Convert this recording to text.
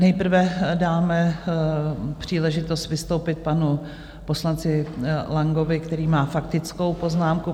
Nejprve dáme příležitost vystoupit panu poslanci Langovi, který má faktickou poznámku.